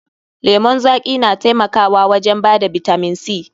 Lemon zaƙi na taimakawa wajen bada bitamin C.